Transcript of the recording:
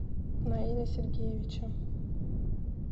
наиля сергеевича